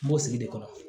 N b'o sigi de kɔrɔ